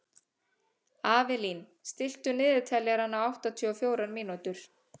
Avelín, stilltu niðurteljara á áttatíu og fjórar mínútur.